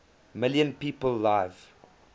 million people live